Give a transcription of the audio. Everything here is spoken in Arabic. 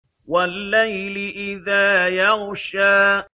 وَاللَّيْلِ إِذَا يَغْشَىٰ